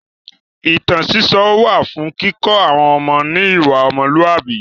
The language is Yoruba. Ìtàn sísọ wà fún kíkọ́ àwọn ọmọ ní ìwà ọmọlúàbí.